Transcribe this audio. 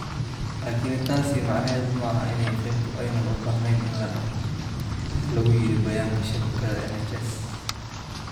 Laakiin taasi macnaheedu maaha in qaybtu aanay u baahnayn in la dhaqo,” ayaa lagu yidhi bayaanka shabakadda NHS.